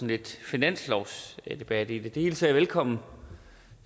lidt finanslovsdebat i det det hilser jeg velkommen